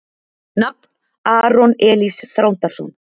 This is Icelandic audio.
Nafn: Aron Elís Þrándarson